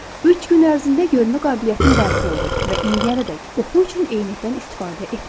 Üç gün ərzində görmə qabiliyyətim bərpa oldu və indiyənədək oxu üçün eynəkdən istifadə etmirəm.